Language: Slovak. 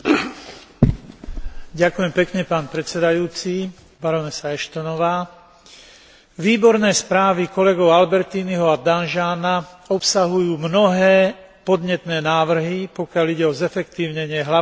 Výborné správy kolegov Albertiniho a Danjeana obsahujú mnohé podnetné návrhy, pokiaľ ide o zefektívnenie hlavných aspektov a základných možností pri realizácii spoločnej zahraničnej a bezpečnostnej politiky.